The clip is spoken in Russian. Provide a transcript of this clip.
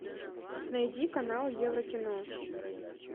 найди канал еврокино